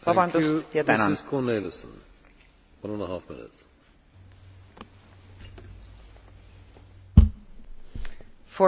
Voorzitter, dat er meer vrouwen nodig zijn in topposities in het bedrijfsleven, daar zijn wij het van links tot rechts over eens.